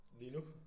Lige nu?